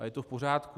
A je to v pořádku.